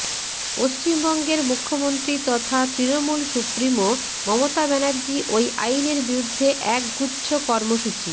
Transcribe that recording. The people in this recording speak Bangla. পশ্চিমবঙ্গের মুখ্যমন্ত্ৰী তথা তৃণমূল সুপ্ৰিমো মমতা ব্যানার্জি ওই আইনের বিরুদ্ধে একগুচ্ছ কর্মসূচি